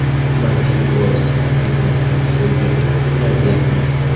Mana shu bois ham ketmasdan shu yerda kutinglar, deyapmiz.